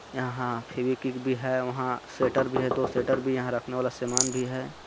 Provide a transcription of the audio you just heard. यहाँ फेवीकिक भी हे वहां सेटर भी है दो सेटर भी यहाँ रखने वाला सामान भी है।